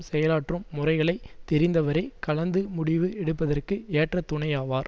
செயலாற்றும் முறைகளைத் தெரிந்தவரே கலந்து முடிவு எடுப்பதற்கு ஏற்ற துணையாவார்